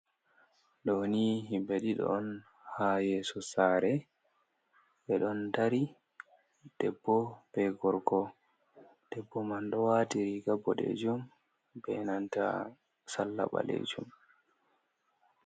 Ɗo ni himɓe ɗiɗi on ha yeso sare ɓeɗon dari. Debbo be gorko. Debbo man ɗo wati riga boɗejum be nanta salla ɓalejum.